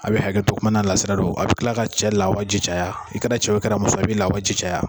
A bɛ hakɛ to kuma na lasira don, a bɛ kila ka cɛ lawaji caya, i kɛra cɛ ye o i kɛra muso ye o i bɛ lawaji caya.